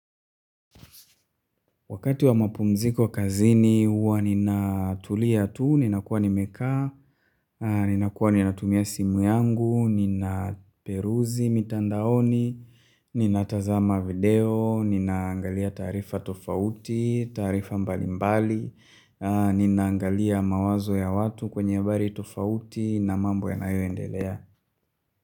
Wakati wa mapumziko kazini huwa ninatulia tu, ninakuwa nimekaa, nina kuwa nina tumia simu yangu, nina peruzi mitandaoni, nina tazama video, ninaangalia taarifa tofauti, taarifa mbalimbali, ninaangalia mawazo ya watu kwenye habari tofauti na mambo yanayoendelea.